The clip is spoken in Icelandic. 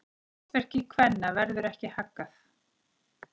Hlutverki kvenna verður ekki haggað.